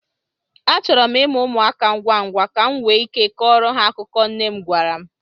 Achọrọ m ịmụ ụmụaka ngwa ngwa, ka m nwee ike ịkọrọ ha akụkọ nne m gwara m.